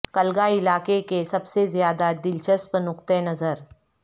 کلگا علاقے کے سب سے زیادہ دلچسپ نقطہ نظر